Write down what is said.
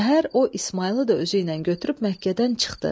Səhər o İsmayılı da özü ilə götürüb Məkkədən çıxdı.